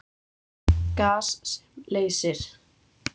Gas sem leysir